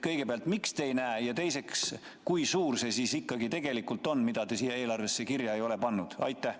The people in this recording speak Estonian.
Kõigepealt, miks te ei näe, ja teiseks, kui suur see tulupool siis tegelikult on, mida te siia eelarvesse kirja ei ole pannud?